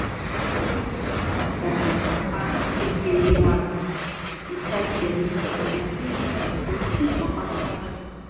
o fẹ́rẹ̀ẹ́ sàn apá kékeré lára um ika ese mi kò sì tíì kò sì tíì sàn pátápátá